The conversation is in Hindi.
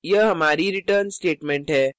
यह हमारी return statement है